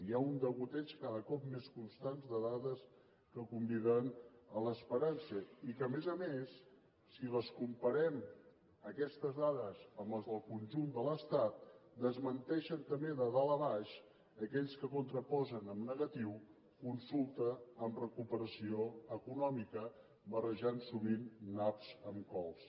hi ha un degoteig cada cop més constant de dades que conviden a l’esperança i que a més a més si les comparem aquestes dades amb les del conjunt de l’estat desmenteixen també de dalt a baix aquells que contraposen en negatiu consulta amb recuperació econòmica barrejant sovint naps amb cols